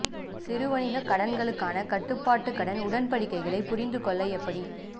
சிறு வணிக கடன்களுக்கான கட்டுப்பாட்டு கடன் உடன்படிக்கைகளை புரிந்து கொள்ள எப்படி